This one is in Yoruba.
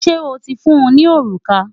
Ṣé o ti fún un ní òrùka?